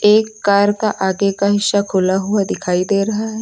एक कार का आगे का हिस्सा खुला हुआ दिखाई दे रहा है।